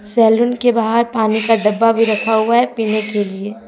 Salon के बाहर पानी का डब्बा भी रखा हुआ है पीने के लिए।